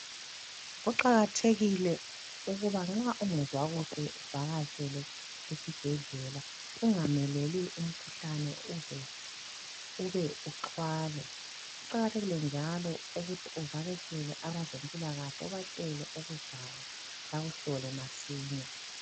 Kuqakathekile ukuba nxa ungezwa kukhe uvakatshele isibhedlela ungameleli umkhuhlane ukuze ube uqwale kuqakathekile njalo ukuthi uvaketshele abazempilakahle ubatshele okuzwayo bakuhlole masinya.